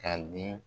Ka di